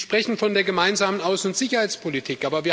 Sie sprechen von der Gemeinsamen Außen und Sicherheitspolitik.